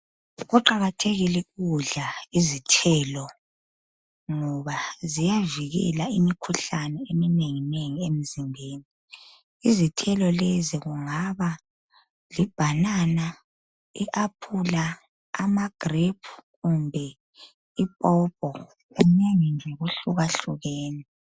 Kuqakathekile ukudla izithelo ngoba ziyavikela imikhuhlane eminenginengi emzimbeni. Izithelo lezi kungaba libanana, iaphula, amagrephu kumbe ipopo kunengi nje kuhlukahlukene.